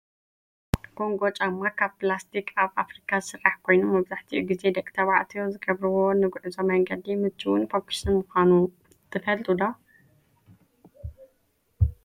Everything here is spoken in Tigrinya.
ኮንጎ ጫማ ካብ ብላስቲክ ኣብ ፋብሪካ ዝስራሕ ኮይኑ መብዛሕቲኡ ግዜ ደቂ ተባዕትዮ ዝገብርዎ ንጉዕዞ መንገዲ ሙችውን ፈኩስን ምኳኑ ትፈልጡ ዶ?